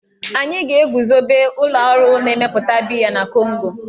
Anyị ga-eguzobe ụlọ ọrụ na-emepụta biya na Kongo.